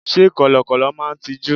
Sé Kọ̀lọ̀kọ̀lọ̀ máa n tijú?